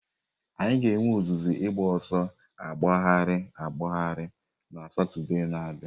Anyị ga-enwe ọzụzụ ịgba ọsọ agbagharị agbagharị na Satọde na-abịa.